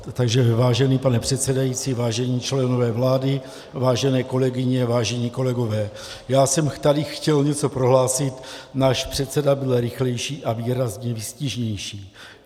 Takže vážený pane předsedající, vážení členové vlády, vážené kolegyně, vážení kolegové, já jsem tady chtěl něco prohlásit, náš předseda byl rychlejší a výrazně výstižnější.